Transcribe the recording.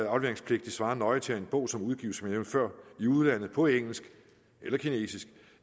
afleveringspligtig svarer nøje til at en bog som udgives i udlandet på engelsk eller kinesisk